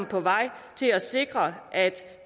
på vej til at sikre at